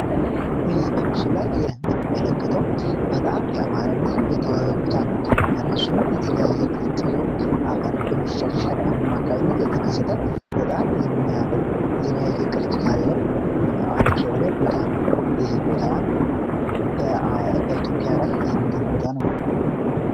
በመስሎ ላይ የምንመለከተው በጣም ያማረና የተዋበ ቦታ ነው በራሱም የተዋበ ቅርጽ ይዞ አፈሩ በመሸርሸር አማካኝነት የተከሰተ በጣም አሪፍ የሆነ የሚያምር ቅርጽ ያለው ቦታ ነው ይህ ቦታ በኢትዮጵያ ላይ የሚገኙ ቦታ ነው።